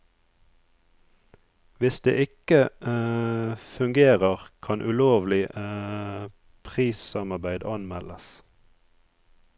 Hvis det ikke fungerer, kan ulovlig prissamarbeid anmeldes.